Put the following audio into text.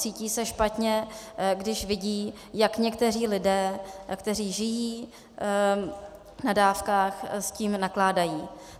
Cítí se špatně, když vidí, jak někteří lidé, kteří žijí na dávkách, s tím nakládají.